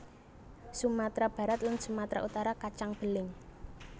Sumatera Barat lan Sumatera Utara kacang beling